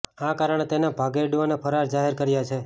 આ કારણે તેને ભાગેડુ અને ફરાર જાહેર કર્યો છે